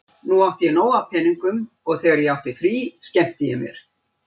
Nú átti ég nóg af peningum og þegar ég átti frí skemmti ég mér.